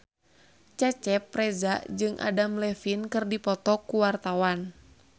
Cecep Reza jeung Adam Levine keur dipoto ku wartawan